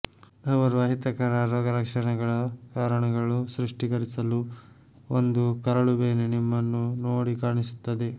ಅವರು ಅಹಿತಕರ ರೋಗಲಕ್ಷಣಗಳ ಕಾರಣಗಳು ಸ್ಪಷ್ಟೀಕರಿಸಲು ಒಂದು ಕರಳುಬೇನೆ ನಿಮ್ಮನ್ನು ನೋಡಿ ಕಾಣಿಸುತ್ತದೆ